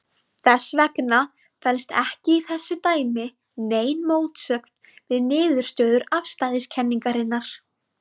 Þess vegna felst ekki í þessu dæmi nein mótsögn við niðurstöður afstæðiskenningarinnar.